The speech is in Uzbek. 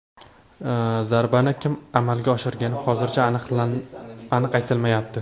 Zarbani kim amalga oshirgani hozircha aniq aytilmayapti.